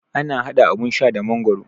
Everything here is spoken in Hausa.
Ana haɗa abun sha da magoro